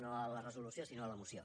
no a la resolució sinó a la moció